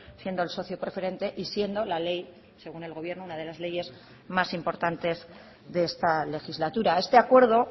siendo el socio preferente y siendo la ley según el gobierno una de las leyes más importantes de esta legislatura este acuerdo